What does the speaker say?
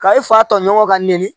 Ka i fa tɔɲɔgɔn ka nɛni